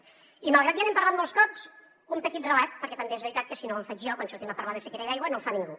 i malgrat que ja n’hem parlat molts cops un petit relat perquè també és veritat que si no el faig jo quan sortim a parlar de sequera i d’aigua no el fa ningú